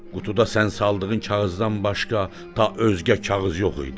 Qutuda sən saldığın kağızdan başqa ta özgə kağız yox idi.